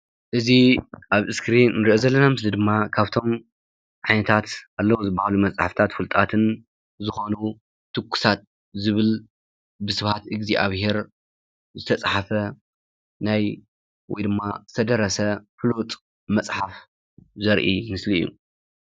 እዚ ኣብ እስክሪን እንርእዮ ዘለና ምስሊ ድማ ካብቶም ዓይነታት ኣለው ዝበሃሉ መፅሓፍታት ፍሉጣትን ዝኮኑ ትኩሳት ዝብል ብስብሓት እግዚአብሄር ዝተፃሓፈ ናይ ወይ ድማ ዝተደረሰ ፍሉጥ መፅሓፍ ዘርኢ ምስሊ እዩ።